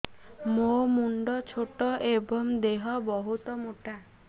ମୋ ମୁଣ୍ଡ ଛୋଟ ଏଵଂ ଦେହ ବହୁତ ମୋଟା